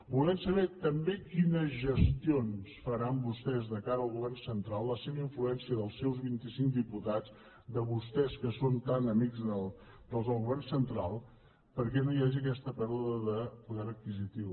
volem saber també quines gestions faran vostès de cara al govern central la seva influència dels seus vint i cinc diputats de vostès que són tan amics dels del govern central perquè no hi hagi aquesta pèrdua de poder adquisitiu